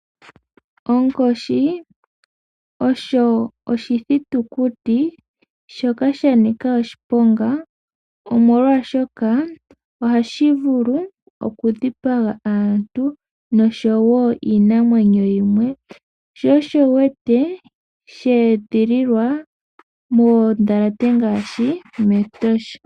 Onkoshi osho oshithitukuti shoka sha nika oshiponga, omolwashoka ohashi vulu oku dhipaga aantu noshowo iinamwenyo yimwe, sho sho wu wete sha edhililwa moondhalate ngaashi mEtosha.